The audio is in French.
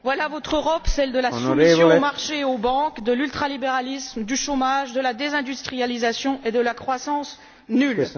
Voilà votre Europe, celle de la soumission aux marchés et aux banques, de l'ultralibéralisme, du chômage, de la désindustrialisation et de la croissance nulle.